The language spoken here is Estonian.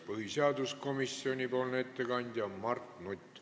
Põhiseaduskomisjoni ettekandja on Mart Nutt.